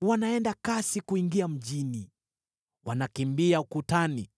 Wanaenda kasi kuingia mjini; wanakimbia ukutani.